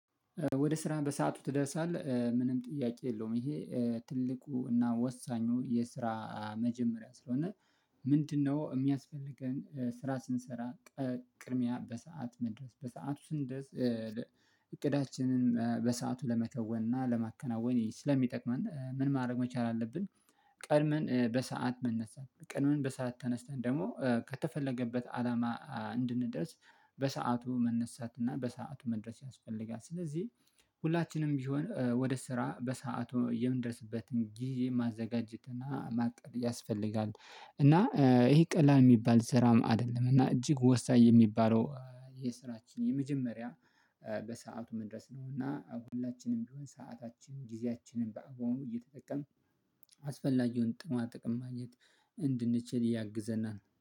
ወደ ስራህ በሰአቱ ትደርሳለህ ምንም ጥያቄ የለውም ይሄ ትልቁና ወሳኙ የስራ መጀመሪያ ስለሆነ። ምንድነው? እሚያስፈልገን ስራ ስንሰራ ቅድሚያ በሰአት መድረስ በሰአቱ ስንደርስ እቅዳችንን በሰአቱ ለመከወን እና ለማከናወን ስለሚጠቅመን ምን ማድረግ መቻል አለብን። ቀድመን በሰአት መነሳት ቀድመን በሰአት ተነስተን ደግሞ ከተፈለገበት አላማ እንድንደርስ በሰአቱ መነሳት እና በሰአቱ መድረስ ያስፈልጋል። ስለዚህ ሁላችንም ቢሆን ወደ ስራ በሰአቱ የምንደርስበትን ጊዜ ማዘጋጀት እና ማቀድ ያስፈልጋል። እና እሄ ቀላል ሚባል ስራም አይደለም እና እጅግ ወሳኝ የሚባለው የስራችን የመጀመሪያ በሰአቱ መድረስ ነው። እና ሁላችንም ቢሆን ሰዓታችን ጊዜያችንን በአግባቡ እየተጠቀምን አስፈላጊውን ጥቅማ ጥቅማ ማግኘት እንድንችል ያግዘናል